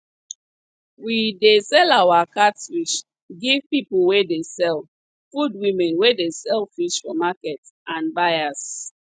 we dey sell our catfish give people wey dey sell food women wey dey sell fish for market and buyers